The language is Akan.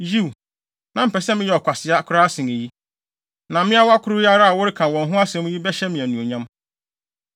Yiw, na mepɛ sɛ meyɛ ɔkwasea koraa sen eyi, na mmeawa koro yi ara a woreka wɔn ho asɛm yi bɛhyɛ me anuonyam.”